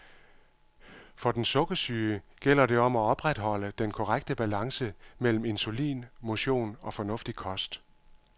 For den sukkersyge gælder det om at opretholde den korrekte balance mellem insulin, motion og fornuftig kost.